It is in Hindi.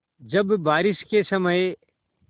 जब बारिश के समय